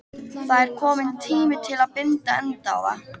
Það er kominn tími til að binda enda á það.